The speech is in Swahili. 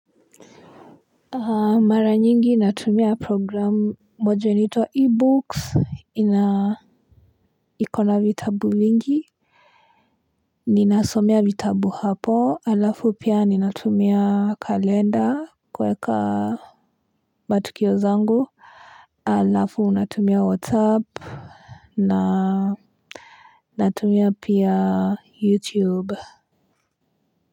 Mara nyingi natumia program moja nitua ebooks ina ikona vitabu vingi ninasomea vitabu hapo alafu pia ninatumia kalenda kuweka matukio zangu alafu unatumia whatsapp na natumia pia youtube.